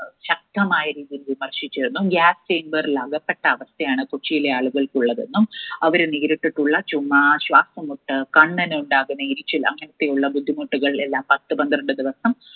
ശക്തമായ രീതിയിൽ വിമർശിച്ചിരുന്നു. gas chamber ൽ അകപ്പെട്ട അവസ്ഥയാണ് കൊച്ചിയിലെ ആളുകൾക്കുള്ളതെന്നും അവർ നേരിട്ടിട്ടുള്ള ചുമ, ശ്വാസം മുട്ട്, കണ്ണിന് ഉണ്ടാകുന്ന എരിച്ചിൽ അങ്ങനെയൊക്കെയുള്ള ബുദ്ധിമുട്ടുകൾ എല്ലാം പത്തുപന്ത്രണ്ടു ദിവസം